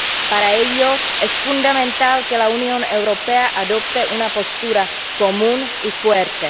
Para ello es fundamental que la Unión Europea adopte una postura común y fuerte.